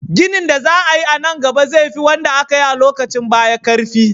ginin da za ayi nan gaba zai fi wanda akayi a lokacin baya karfi